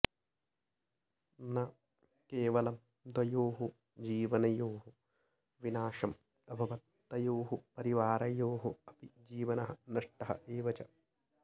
न केवलं द्वयोः जीवनयोः विनाशम् अभवत् तयोः परिवारयोः अपि जीवनः नष्टः एव च